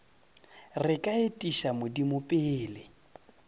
re ka etiša modimo pele